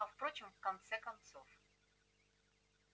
а впрочем в конце-то концов